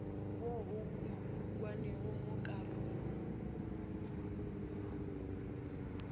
wo o ukangwego mo karolong